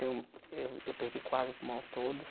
Eu eu perdi quase o pulmão todo.